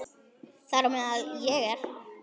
Þar á meðal er ég.